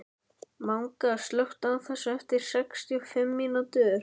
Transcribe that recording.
Manga, slökktu á þessu eftir sextíu og fimm mínútur.